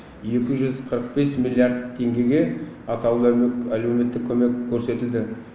екі жүз қырық бес миллиард теңгеге атаулы әлеуметтік көмек көрсетілді